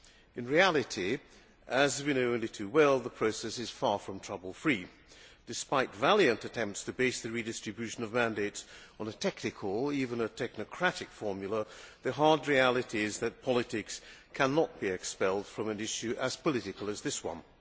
In reality, as we know only too well, the process is far from trouble free. Despite valiant attempts to base the redistribution of mandates on a technical or even a technocratic formula, the hard reality is that politics cannot be expelled from an issue as political as this one.